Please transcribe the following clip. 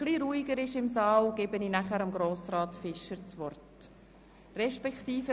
Breiter Einbezug der Gemeinden bei der Erarbeitung der Evaluation.